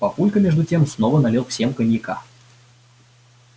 папулька между тем снова налил всем коньяка